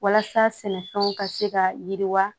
Walasa sɛnɛfɛnw ka se ka yiriwa